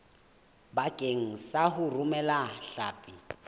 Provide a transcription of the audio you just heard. bakeng sa ho romela hlapi